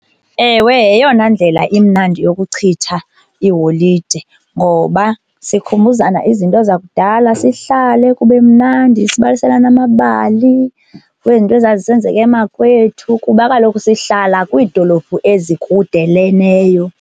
Ewe, yeyona ndlela imnandi yokuchitha iholide ngoba sikhumbuzana izinto zakudala, sihlale kube mnandi, sibaliselane amabali kwezinto ezazisenzeka emakwethu kuba kaloku sihlala kwiidolophu ezikudeleneyo.